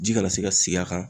Ji kana se ka sigi a kan.